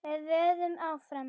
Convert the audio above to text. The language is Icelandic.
Við vöðum áfram.